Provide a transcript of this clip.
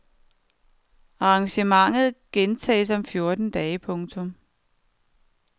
Arrangementet gentages om fjorten dage. punktum